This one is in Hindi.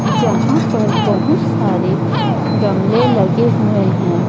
जहाँ पर बहोत सारे गमले लगे हुए हैं।